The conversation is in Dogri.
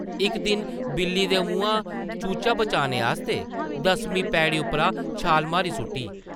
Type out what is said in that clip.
इक दिन बिल्ली दे मुहां चूचा बचाने आस्तै दसमीं पैड़ी उप्परा छाल मारी सुʼट्टी ।